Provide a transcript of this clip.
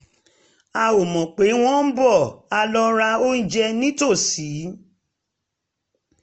a ò mọ̀ pé wọ́n ń bọ̀ a lọ ra oúnjẹ nítòsí